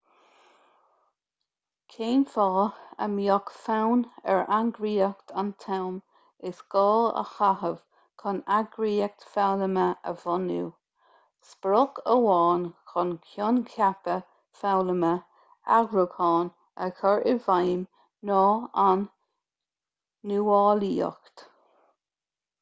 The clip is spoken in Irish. cén fáth a mbeadh fonn ar eagraíocht an t-am is gá a chaitheamh chun eagraíocht foghlama a bhunú sprioc amháin chun coincheapa foghlama eagrúcháin a chur i bhfeidhm ná an nuálaíocht